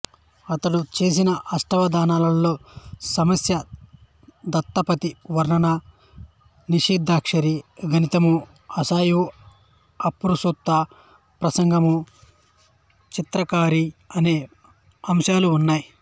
ఇతడు చేసిన అష్టావధానాలలో సమస్య దత్తపది వర్ణన నిషిద్దాక్షరి గణితము ఆశువు అప్రస్తుత ప్రసంగము చిత్రాక్షరి అనే అంశాలు ఉన్నాయి